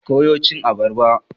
Ki koya cin abarba!